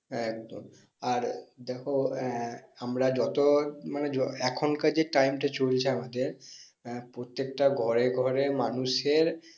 এক্দম্আর দেখো আহ আমরা যত মানে এখন যে time টা চলছে আমাদের আহ প্রত্যেকটা ঘরে ঘরে মানুষ এর